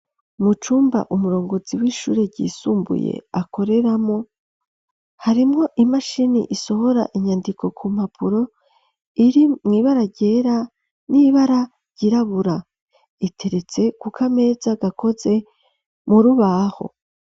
Mucumba umurongozi w'ishure ryisumbuye akoreramwo hariwo imashini isohora inyandiko ku mapuro iri mwibara ryera nibara ryirabura iteretse kukameza gakoze murubaho.